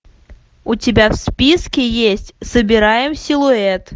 у тебя в списке есть собираем силуэт